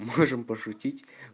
можем пошутить